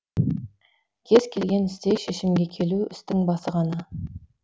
кез келген істе шешімге келу істің басы ғана